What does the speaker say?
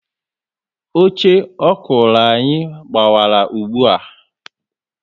Oche ọkụrụ anyị gbawara ùgbúà